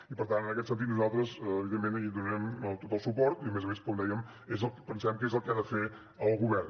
i per tant en aquest sentit nosaltres evidentment hi donarem tot el suport i a més a més com dèiem pensem que és el que ha de fer el govern